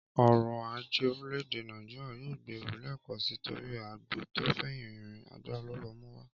Ọrọ̀-ajé orílẹ̀-èdẹ Nàìjíríà yóò gbèrú lẹ́ẹ̀kan sí torí àgbò tò fẹ̀yìn rìn, agbára ló lọ mú wá